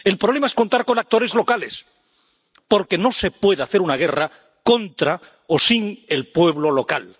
el problema es contar con actores locales, porque no se puede hacer una guerra contra o sin el pueblo local.